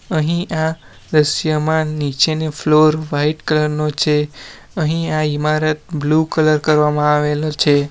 અહીં આ દ્રશ્યમાં નીચેની ફ્લોર વાઈટ કલર નો છે અહીં આ ઈમારત બ્લુ કલર કરવામાં આવેલો છે.